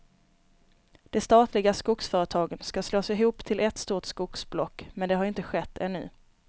De statliga skogsföretagen ska slås ihop till ett stort skogsblock, men det har inte skett ännu.